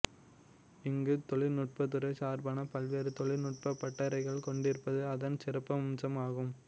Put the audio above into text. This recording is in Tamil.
இங்கு தொழிநுட்பத்துறை சார்பான பல்வேறு தொழிநுட்ப பட்டறைகள் கொண்டிருப்பது அதன் சிறப்பம்சமாகும்